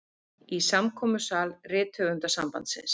Í samkomusal Rithöfundasambandsins.